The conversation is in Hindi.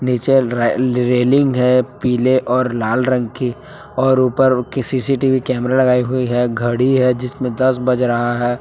नीचे रे रे रेलिंग है पीले और लाल रंग की और उपर कि सी_सी_टी_वी कैमरा लगाई हुई है घड़ी है जिसमें दस बज रहा है।